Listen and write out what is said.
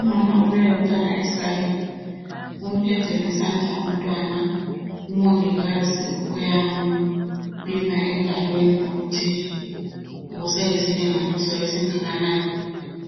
Umama obuye lomntwana esikalini umphethe ngesandla umntwana. Umongikazi uyampima engalweni ukuthi useyisilinganiso esingakanani.